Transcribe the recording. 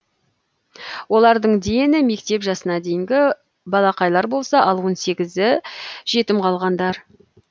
олардың дені мектеп жасына дейінгі балақайлар болса ал он сегізі жетім қалғандар